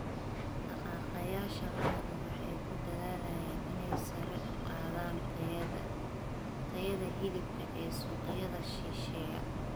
Dhaqaaqayaasha lo'du waxay ku dadaalayaan inay sare u qaadaan tayada hilibka ee suuqyada shisheeye.